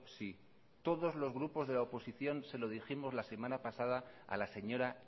sí todos los grupos de la oposición se lo dijimos la semana pasada a la señora